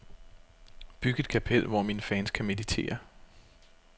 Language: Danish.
Byg et kapel, hvor mine fans kan meditere.